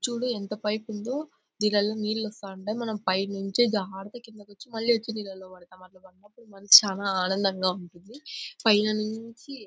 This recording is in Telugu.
చూడు ఎంత పైప్ ఉందో దేనాల్లో నీళ్లు వస్తుంటాయి. మనం పై నుంచి జారుతూ కిందకి వచ్చి మళ్లీ నీళ్ళల్లో పడతామన్నమాట. మనసు చాలా ఆనందంగా ఉంటుంది. పైన నుంచి--